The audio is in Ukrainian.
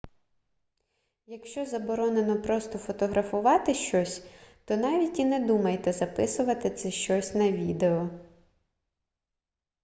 якщо заборонено просто фотографувати щось то навіть і не думайте записувати це щось на відео